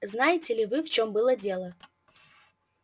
знаете ли вы в чем было дело